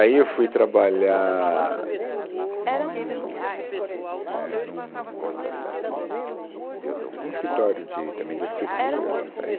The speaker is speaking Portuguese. Aí eu fui trabalhar num, é, num, tsc, num escritório de também de arquitetura. Saí